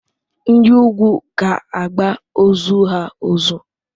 Ndi ugwu ga-agba ozu ha ozu.